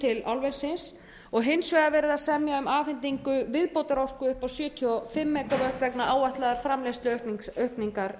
til álversins og hins vegar verið að semja um afhendingu viðbótarorku upp á sjötíu og fimm megavött vegna áætlaðrar framleiðsluaukningar álversins miðað er